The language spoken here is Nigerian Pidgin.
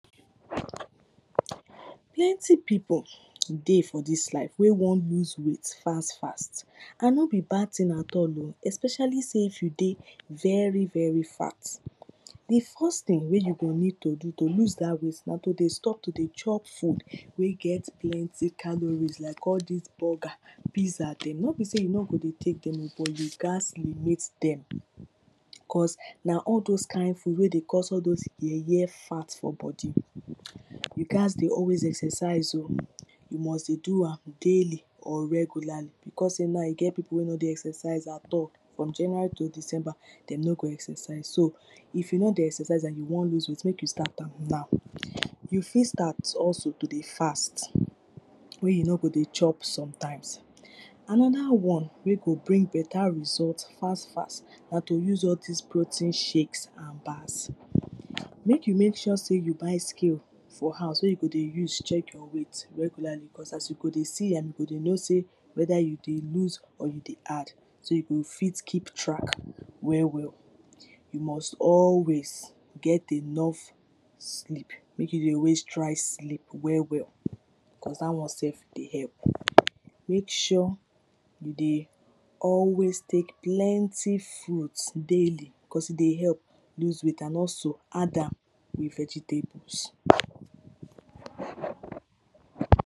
Plenty pipo dey for dis life wey wan lose weight fast fast and no be bad thing at all oh especially sey if you dey very very fat Di first thing wey you go need to do to lose dat weight na to dey stop to dey chop food wey get plenty calories like all dis burger pizza dem. No be sey you no go dey take dem oh, but you gat limit dem cos na all those kind food wey dey all those cause yeye fat for body You gat dey always exercise oh, you must dey do am daily or regularly becos sey na e get pipo wey no dey exercise at all, from January to December dem no go exercise, so if you no dey exercise and you wan lose weight make you start am now. You fit start also to dey fast wey you no go dey chop sometimes. Another one wey go bring better result fast fast na to use all dis protein shakes and pass. Make you make sure sey you buy scale for house wey you godey use check your weight regularly becos as you go dey see am you go know sey weda you dey lose or you dey add, so you go fit keep track well well you must always get enough sleep. Make you dey always try sleep well well cos dat one self dey help. Make sure you dey always take plenty fruit daily becos e dey help lose weight and also add with vegetables